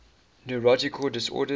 neurological disorders